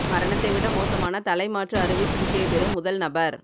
மரணத்தை விட மோசமான தலைமாற்று அறுவை சிகிச்சையை பெறும் முதல் நபர்